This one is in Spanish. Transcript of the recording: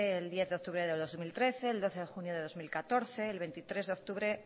el diez de octubre de dos mil trece el doce de junio de dos mil catorce el veintitrés de octubre